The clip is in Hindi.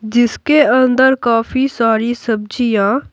जिसके अंदर काफी सारी सब्जियां--